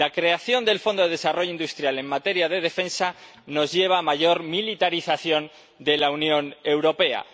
La creación del Programa Europeo de Desarrollo Industrial en materia de Defensa nos lleva a una mayor militarización de la Unión Europea.